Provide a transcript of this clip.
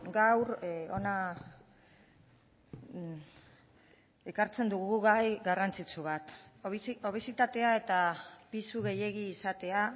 gaur hona ekartzen dugu gai garrantzitsu bat obesitatea eta pisu gehiegi izatea